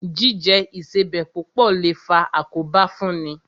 Jíjẹ Ìṣebẹ̀ púpọ̀ lè faa àkóbá fún ni